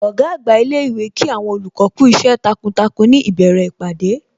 Ọ̀gá àgbà ilé ìwé Kí àwọn olùkọ́ kú iṣẹ́ takuntakun ní ìbẹ̀rẹ̀ ìpàdé